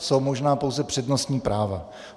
Jsou možná pouze přednostní práva.